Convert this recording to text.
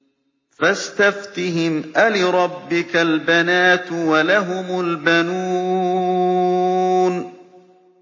فَاسْتَفْتِهِمْ أَلِرَبِّكَ الْبَنَاتُ وَلَهُمُ الْبَنُونَ